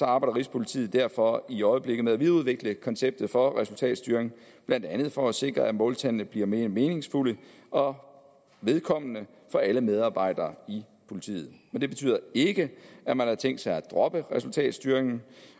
arbejder rigspolitiet derfor i øjeblikket med at videreudvikle konceptet for resultatstyring blandt andet for at sikre at måltallene bliver mere meningsfulde og vedkommende for alle medarbejdere i politiet men det betyder ikke at man har tænkt sig at droppe resultatstyringen